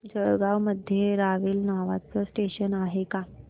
जळगाव मध्ये रावेर नावाचं स्टेशन आहे का